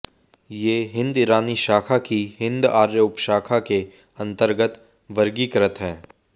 ये हिन्द ईरानी शाखा की हिन्द आर्य उपशाखा के अन्तर्गत वर्गीकृत है